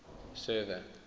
server